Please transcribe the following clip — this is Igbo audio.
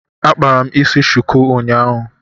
Akpara m isi shuku unyaahu